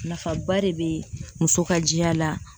Nafaba de be muso ka jɛya la.